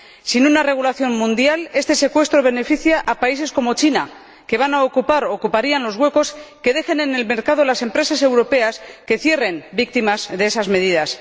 Sin una regulación mundial, este secuestro beneficia a países como China, que van a ocupar, u ocuparían, los huecos que dejen en el mercado las empresas europeas que cierren, víctimas de esas medidas.